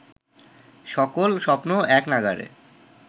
সকল স্বপ্ন এক নাগাড়ে